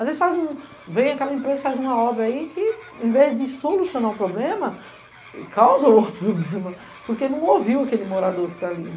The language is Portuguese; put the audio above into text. Às vezes vem aquela empresa e faz uma obra aí que, ao invés de solucionar o problema, causa outro problema, porque não ouviu aquele morador que está ali.